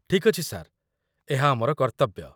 ଠିକ୍ ଅଛି ସାର୍, ଏହା ଆମର କର୍ତ୍ତବ୍ୟ।